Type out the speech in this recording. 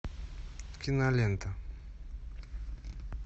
кинолента